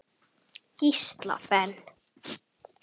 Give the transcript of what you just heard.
Gísla Ben.